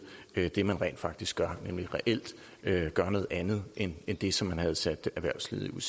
det man rent faktisk gør nemlig reelt at gøre noget andet end det som man havde sat erhvervslivet